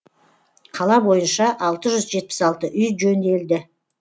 қала бойынша алты жүз жетпіс алты үй жөнделді